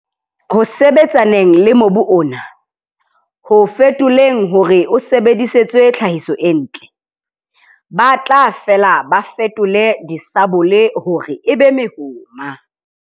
Ho sebetsaneng le mobu ona, ho o fetoleng hore o sebedisetswe tlhahiso e ntle, ba tla fela ba fetole disabole hore e be mehoma.